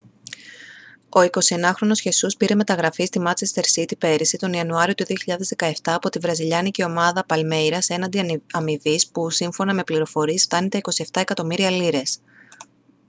ο 21χρονος χεσούς πήρε μεταγραφή στη μάντσεστερ σίτι πέρυσι τον ιανουάριο του 2017 από τη βραζιλιάνικη ομάδα παλμέιρας έναντι αμοιβής που σύμφωνα με πληροφορίες φτάνει τα 27 εκατομμύρια λίρες